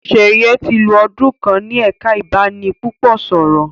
Sheye tí lọ ọdún kán ní ẹka ibanipúpò sọrọ.